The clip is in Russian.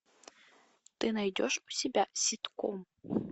ты найдешь у себя ситком